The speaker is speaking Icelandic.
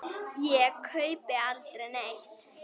Ég kaupi aldrei neitt.